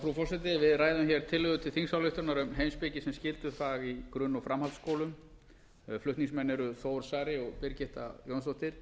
frú forseti við ræðum hér tillögu til þingsályktunar um heimspeki sem skyldufag í í grunn og framhaldsskóla flutningsmenn eru þór saari og birgitta jónsdóttir